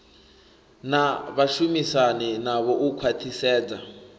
na vhashumisani navho u khwathisedza